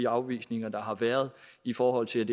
afvisninger der har været i forhold til